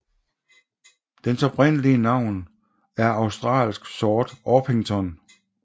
Dens oprindelige navn er australsk sort orpington